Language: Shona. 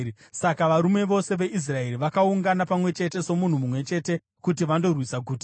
Saka varume vose veIsraeri vakaungana pamwe chete somunhu mumwe chete kuti vandorwisa guta.